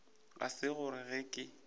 ga se gore ge ke